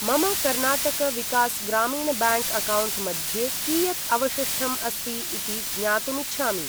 मम Karnataka Vikas Grameena bank account मध्ये कियत् अवशिष्टम् अस्ति इति ज्ञातुम् इच्छामि्।